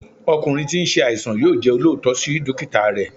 ọkunrin tí n se àìsàn yóò jẹ́ olóòótọ́ sí dókítà rẹ̀